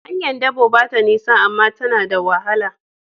Hanyar dabo ba ta nisa, amma ta na da wahala.